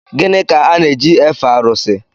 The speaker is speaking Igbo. Gịnị ka a na-eji efe arụsị?